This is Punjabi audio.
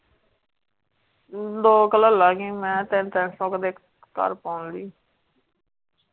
ਦੋ ਕ ਲੈ ਲਾਂਗੀ ਮੈਂ ਤਿੰਨ ਤਿੰਨ ਕ ਸੋ ਦੇ ਘਰ ਪਾਉਣ ਲਈ .